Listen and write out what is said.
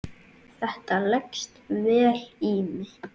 Þetta leggst vel í mig.